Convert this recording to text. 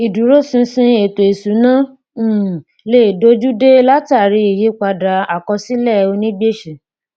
ìdúró ṣinṣin ètò ìsúnná um lè dojú dé látàrí ìyípadà àkọsílẹ onígbèsè